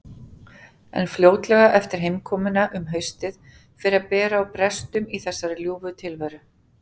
En fljótlega eftir heimkomuna um haustið fer að bera á brestum í þessari ljúfu tilveru.